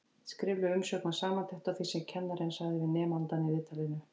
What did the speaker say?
Skrifleg umsögn var samantekt á því sem kennarinn sagði við nemandann í viðtalinu.